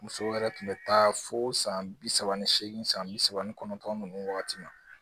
Musow yɛrɛ tun bɛ taa fo san bi saba ani seegin san bi saba ni kɔnɔntɔn ninnu wagati ma